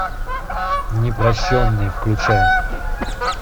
непрощенный включай